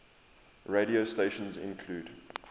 radio stations include